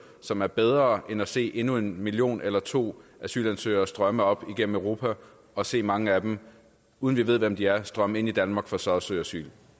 som er bedre end at se endnu en million eller to asylansøgere strømme op igennem europa og se mange af dem uden vi ved hvem de er strømme ind i danmark for så at søge asyl